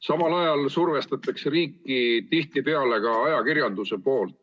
Samal ajal survestab riiki tihtipeale ka ajakirjandus.